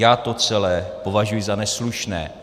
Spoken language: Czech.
Já to celé považuji za neslušné.